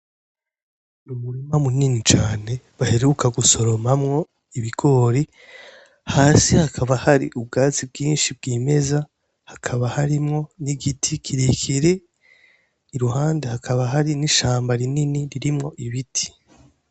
N’umurima munini cane baheruka gusoromamwo ibigori hasi hakaba hari ubwatsi bwinshi bw'imeza hakaba harimwo n'igiti kirekire i ruhande hakaba hari n'ishamba rinini ririmwo ibiti.